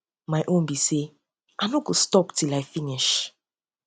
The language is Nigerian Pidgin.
my um um own be um say i no go stop till i finish